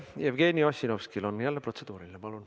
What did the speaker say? Jevgeni Ossinovskil on jälle protseduuriline küsimus.